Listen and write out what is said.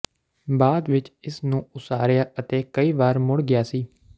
ਬਾਅਦ ਵਿਚ ਇਸ ਨੂੰ ਉਸਾਰਿਆ ਅਤੇ ਕਈ ਵਾਰ ਮੁੜ ਗਿਆ ਸੀ